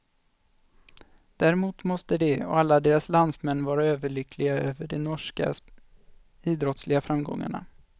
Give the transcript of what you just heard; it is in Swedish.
Däremot måste de och alla deras landsmän vara överlyckliga över de norska idrottsliga framgångarna.